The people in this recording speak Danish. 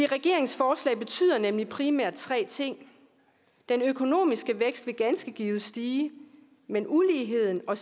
regeringens forslag betyder nemlig primært tre ting den økonomiske vækst vil ganske givet stige men uligheden og